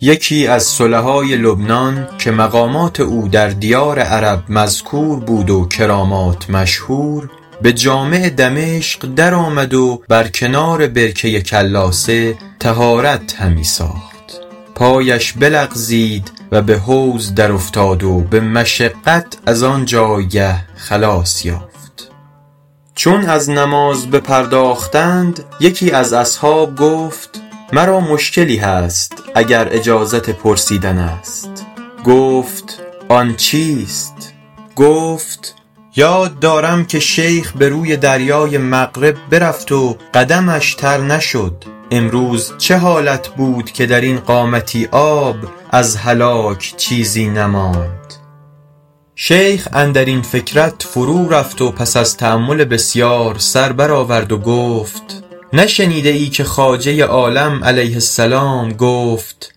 یکی از صلحای لبنان که مقامات او در دیار عرب مذکور بود و کرامات مشهور به جامع دمشق در آمد و بر کنار برکه کلاسه طهارت همی ساخت پایش بلغزید و به حوض در افتاد و به مشقت از آن جایگه خلاص یافت چون از نماز بپرداختند یکی از اصحاب گفت مرا مشکلی هست اگر اجازت پرسیدن است گفت آن چیست گفت یاد دارم که شیخ به روی دریای مغرب برفت و قدمش تر نشد امروز چه حالت بود که در این قامتی آب از هلاک چیزی نماند شیخ اندر این فکرت فرو رفت و پس از تأمل بسیار سر بر آورد و گفت نشنیده ای که خواجه عالم علیه السلام گفت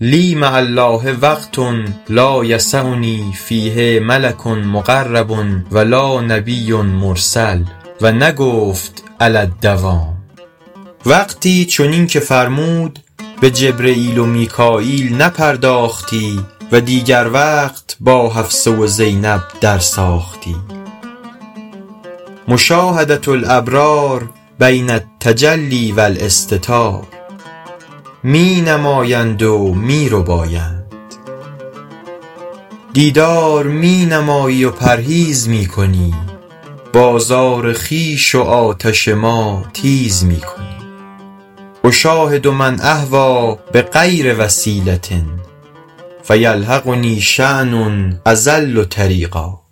لی مع الله وقت لا یسعنی فیه ملک مقرب و لا نبی مرسل و نگفت علی الدوام وقتی چنین که فرمود به جبرییل و میکاییل نپرداختی و دیگر وقت با حفصه و زینب در ساختی مشاهدة الابرار بین التجلی و الاستتار می نمایند و می ربایند دیدار می نمایی و پرهیز می کنی بازار خویش و آتش ما تیز می کنی اشاهد من اهویٰ بغیر وسیلة فیلحقنی شأن اضل طریقا